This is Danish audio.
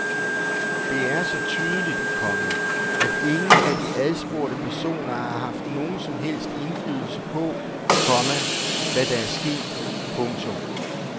Det er så tydeligt, komma at ingen af de adspurgte personer har haft nogen som helst indflydelse på, komma hvad der er sket. punktum